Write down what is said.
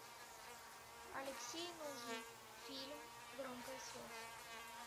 алексей нужный фильм громкая связь